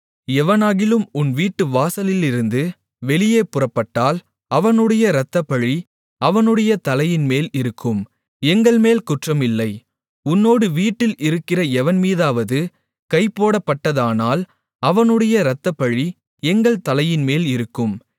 எவனாகிலும் உன் வீட்டு வாசல்களிலிருந்து வெளியே புறப்பட்டால் அவனுடைய இரத்தப்பழி அவனுடைய தலையின்மேல் இருக்கும் எங்கள்மேல் குற்றம் இல்லை உன்னோடு வீட்டில் இருக்கிற எவன்மீதாவது கைபோடப்பட்டதானால் அவனுடைய இரத்தப்பழி எங்கள் தலையின்மேல் இருக்கும்